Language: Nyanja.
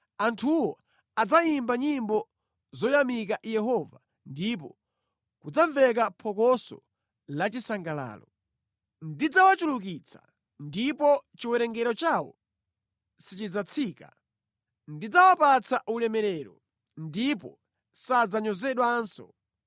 Anthuwo adzayimba nyimbo zoyamika Yehova ndipo kudzamveka phokoso lachisangalalo. Ndidzawachulukitsa, ndipo chiwerengero chawo sichidzatsika; ndidzawapatsa ulemerero, ndipo sadzanyozedwanso.